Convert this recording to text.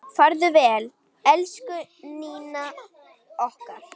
Farðu vel, elsku Nína okkar.